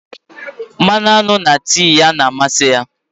mmanụ aṅụ na tii ya na-amasị ya